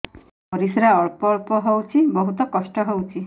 ପରିଶ୍ରା ଅଳ୍ପ ଅଳ୍ପ ହଉଚି ବହୁତ କଷ୍ଟ ହଉଚି